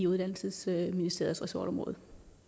uddannelsesministeriets ressortområde